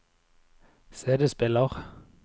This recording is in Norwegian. CD-spiller